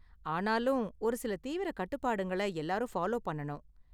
ஆனாலும், ஒரு சில தீவிர கட்டுப்பாடுங்கள எல்லாரும் ஃபாலோ பண்ணனும்.